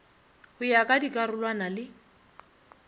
go ya ka dikarolwana le